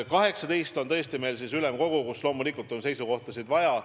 18. juunil on ülemkogu, kus loomulikult on seisukohti vaja.